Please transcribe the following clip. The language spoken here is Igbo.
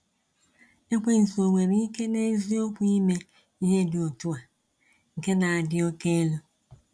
Ekwensu o nwere ike n’eziokwu ime ihe dị otu a nke na-adị oke elu?